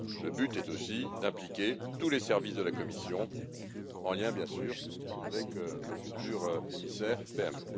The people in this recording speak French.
PME. Le but est aussi d'impliquer tous les services de la Commission, en lien, bien sûr, avec le futur émissaire